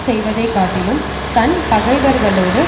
செய்வதை காட்டிலும் தன் பகைவர்களோடு